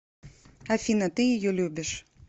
афина ты ее любишь